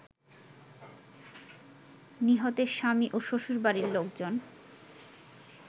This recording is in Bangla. নিহতের স্বামী ও শ্বশুরবাড়ির লোকজন